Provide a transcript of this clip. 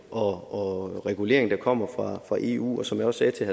og reguleringen der kommer fra eu og som jeg også sagde til